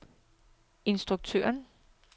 instruktøren